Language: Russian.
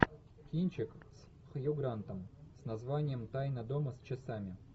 кинчик с хью грантом с названием тайна дома с часами